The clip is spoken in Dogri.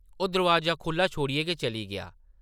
ओह् दरोआजा खुʼल्ला छोड़ियै गै चली गेआ ।